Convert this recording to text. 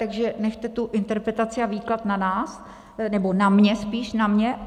Takže nechte tu interpretaci a výklad na nás, nebo na mně spíš, na mně.